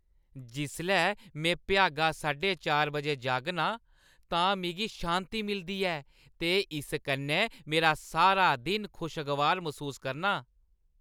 जिसलै मैं भ्यागा साढे चार बजे जागना आं तां मिगी शांति मिलदी ऐ ते इस कन्नै में सारा दिन खुशगवार मसूस करनां।